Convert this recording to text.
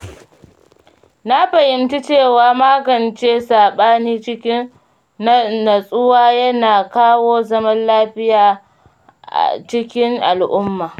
Na fahimci cewa magance saɓani cikin natsuwa yana kawo zaman lafiya a cikin al'umma.